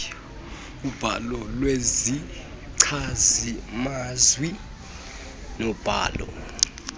ubhalo lwezichazimazwi nobhalo